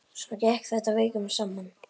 Svona gekk þetta vikum saman.